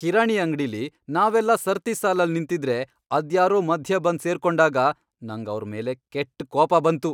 ಕಿರಾಣಿ ಅಂಗ್ಡಿಲಿ ನಾವೆಲ್ಲ ಸರ್ತಿ ಸಾಲಲ್ಲ್ ನಿಂತಿದ್ರೆ ಅದ್ಯಾರೋ ಮಧ್ಯೆ ಬಂದ್ ಸೇರ್ಕೊಂಡಾಗ ನಂಗ್ ಅವ್ರ್ ಮೇಲೆ ಕೆಟ್ಟ್ ಕೋಪ ಬಂತು.